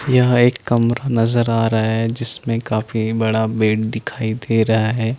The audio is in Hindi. यह नज़र आ रहा है जिसमे काफी बड़ा बेड दिखाई दे रहा है ।